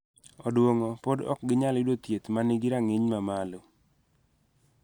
Odwongo pod ok ginyal yudo thieth ma nigi rang�iny mamalo.